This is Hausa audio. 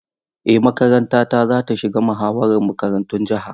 Eh makarantata za ta shiga muhawarar makarantun jiha.